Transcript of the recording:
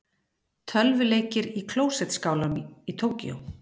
Tölvuleikir í klósettskálum í Tókýó